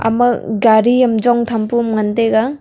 ama gari am chong tham pu am ngan taiga.